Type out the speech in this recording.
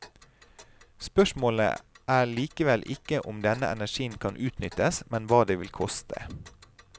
Spørsmålet er likevel ikke om denne energien kan utnyttes, men hva det vil koste.